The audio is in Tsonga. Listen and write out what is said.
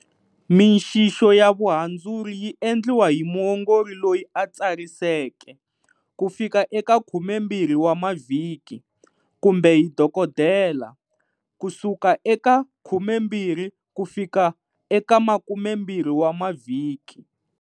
Mixixo ya vuhandzuri yi endliwa hi muongori loyi a tsariseke, ku fika eka 12 wa mavhiki, kumbe hi dokodela, ku suka eka 12 ku fika eka 20 wa mavhiki.